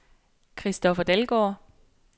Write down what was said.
Christoffer Dalgaard